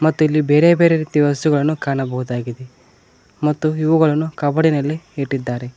ಮತ್ತು ಇಲ್ಲಿ ಬೇರೆಬೇರೆ ರೀತಿಯ ವಸ್ತುಗಳನ್ನು ಕಾಣಬಹುದಾಗಿದೆ ಮತ್ತು ಇವುಗಳನ್ನು ಕಾಬೋರ್ಡಿನಲ್ಲಿ ಇಟ್ಟಿದ್ದಾರೆ.